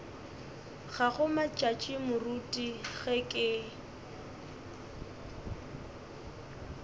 gago matšatši moruti ge ke